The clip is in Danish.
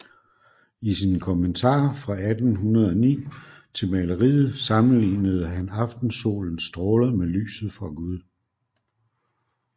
I sin kommentar fra 1809 til maleriet sammenlignede han aftensolens stråler med lyset fra Gud